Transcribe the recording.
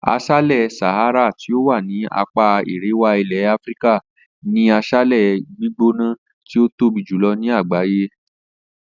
As̩álè̩ Sahara tí ó wà ní apá aríwá ilè̩ Áfíríkà ni as̩álè̩ gbígbóná tí ó tóbi jùlo̩ ní àgbàyé